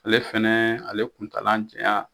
Ale fɛnɛ ale kuntaala janya